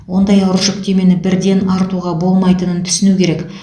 ондай ауыр жүктемені бірден артуға болмайтынын түсіну керек